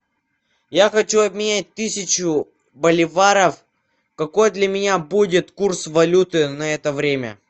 я хочу обменять тысячу боливаров какой для меня будет курс валюты на это время